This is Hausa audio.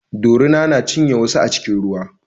Dorina ta cinye wasu a cikin ruwa